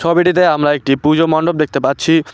ছবিটিতে আমরা একটি পুজো মণ্ডপ দেখতে পাচ্ছি।